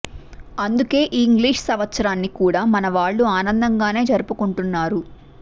అందుకే ఈ ఇంగ్లీషు సంవత్సరాన్ని కూడా మన వాళ్ళు ఆనందంగానే జరుపుకుంటున్నారు